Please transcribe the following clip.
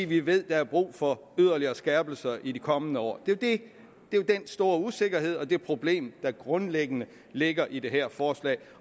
vi ved at der er brug for yderligere skærpelser i de kommende år det er jo den store usikkerhed og det problem der grundlæggende ligger i det her forslag